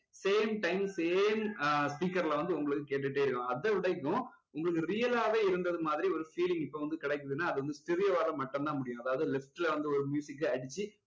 same time same speaker ல வந்து உங்களுக்கு கேட்டுட்டே இருக்கும் அதை விடயும் உங்களுக்கு real ஆவே இருந்தது மாதிரி ஒரு feeling இப்போ வந்து கிடைக்குதுன்னா அது வந்து stereo வால மட்டும் தான் முடியும் அதாவது left ல வந்து ஒரு அடிச்சு